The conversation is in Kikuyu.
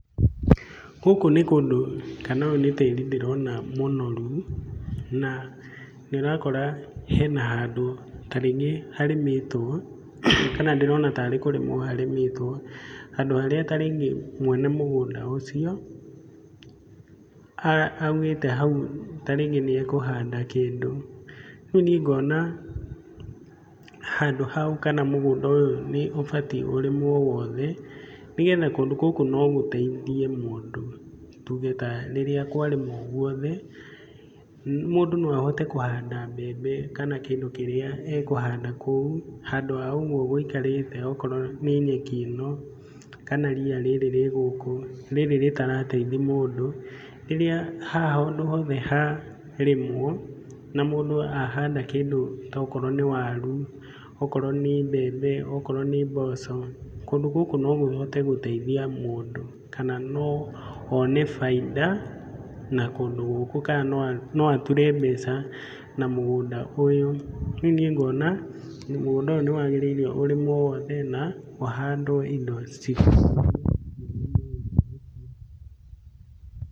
Gũkũ nĩ kũndũ kana ũyũ nĩ tĩri ndĩrona mũnoru na nĩ ũrakora hena handũ ta rĩngĩ harĩmĩtwo kana ndĩrona tarĩ kũrĩmwo harĩmĩtwo. Handũ harĩa ta rĩngĩ mwene mũgũnda ucio augĩte hau ta rĩngĩ nĩ ekũhanda kĩndũ. Rĩu nĩ ngona handũ hau kana mũgũnda ũyũ nĩ ũbatiĩ ũrĩmwo wothe nĩgetha kũndũ gũkũ no gũteithie mũndũ. Tuge ta rĩrĩa kwarĩmwo guothe mũndũ no ahote kũhanda mbembe kana kĩndũ kĩrĩa ekũhanda kũu, handũ ha ũguo gũikarĩte okorwo nĩ nyeki ĩno kana ria rĩrĩ rĩ gũkũ rĩrĩ rĩtarateithia mũndũ. Rĩrĩa haha handũ hothe harĩmwo na mũndũ ahanda kĩndũ ta ũkorwo nĩ waru, okorwo nĩ mbembe, okorwo nĩ mboco, kũndũ gũkũ no kũhote gũteithia mũndũ. Kana no one baita na kũndũ gũkũ kana no ature mbeca na mũgũnda ũyũ. Rĩu niĩ ngona mũgũnda ũyũ nĩ waagĩrĩi ũrĩmwo wothe na ũhandwo indo.